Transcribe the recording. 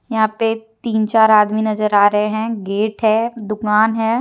यहां पे तीन चार आदमी नजर आ रहे हैं गेट हैं दुकान है।